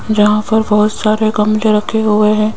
जहां पर बहुत सारे गमले रखे हुए हैं।